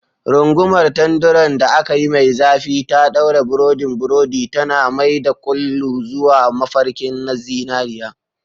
Rungumar tanderun da aka yi mai zafi ta ɗaure burodin burodi, tana mai da kullu zuwa mafarkin zinariya.